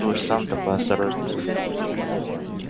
ты уж сам-то поосторожнее